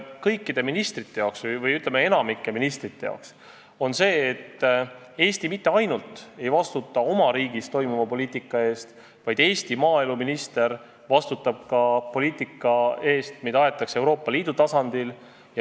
Kõikide ministrite või, ütleme, enamiku ministrite jaoks muutus see, et Eesti ei vastuta ainult oma riigis aetava poliitika eest, vaid näiteks Eesti maaeluminister vastutab ka põllumajanduspoliitika eest, mida aetakse Euroopa Liidu tasandil.